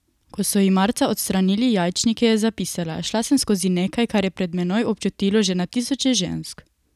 Ko so ji marca odstranili jajčnike, je zapisala: 'Šla sem skozi nekaj, kar je pred menoj občutilo že na tisoče žensk.